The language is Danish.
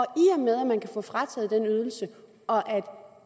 med at man kan få frataget den ydelse og at